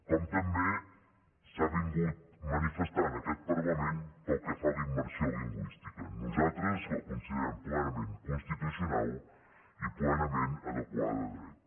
com també s’ha manifestat aquest parlament pel que fa a la immersió lingüística nosaltres la considerem plenament constitucional i plenament adequada a dret